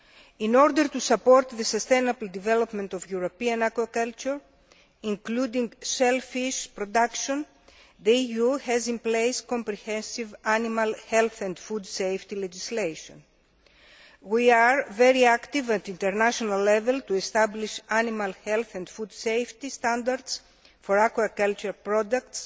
In order to support the sustainable development of European aquaculture, including shellfish production, the EU has in place comprehensive animal health and food safety legislation. We are very active at international level in establishing animal health and food safety standards for aquaculture products,